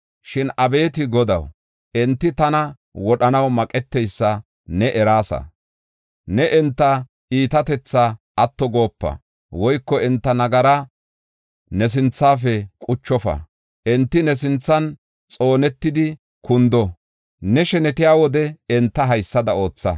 Shin abeeti Godaw, enti tana wodhanaw maqeteysa ne eraasa. Ne enta iitatethaa atto goopa woyko enta nagaraa ne sinthafe quchofa. Enti ne sinthan xoonetidi kundo; ne shenetiya wode enta haysada ootha.